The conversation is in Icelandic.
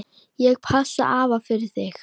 Ég passa afa fyrir þig.